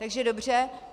Takže dobře.